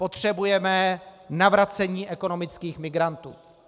Potřebujeme navracení ekonomických migrantů.